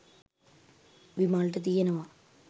විමල්ට තියෙනවා.